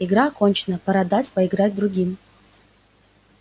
игра окончена пора дать поиграть другим